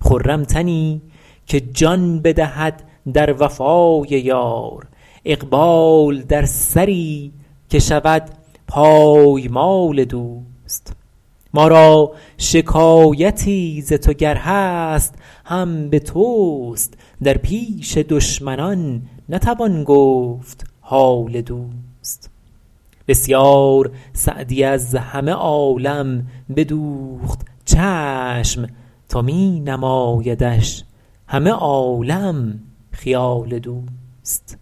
خرم تنی که جان بدهد در وفای یار اقبال در سری که شود پایمال دوست ما را شکایتی ز تو گر هست هم به توست در پیش دشمنان نتوان گفت حال دوست بسیار سعدی از همه عالم بدوخت چشم تا می نمایدش همه عالم خیال دوست